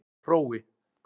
Hrói